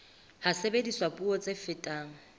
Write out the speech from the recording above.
ha sebediswa puo tse fetang